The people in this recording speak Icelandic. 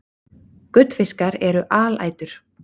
Gullfiskar eru alætur.